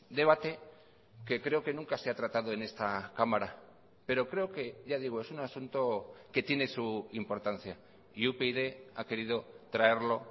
debate que creo que nunca se ha tratado en esta cámara pero creo que ya digo es un asunto que tiene su importancia y upyd ha querido traerlo